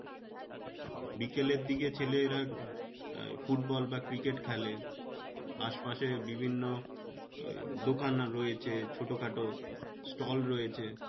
বিকালের দিকে ছেলেরা আহ football বা cricket খেলে আশ পাশে বিভিন্ন এই দোকান রয়েছে ছোটো খাটো stall রয়েছে।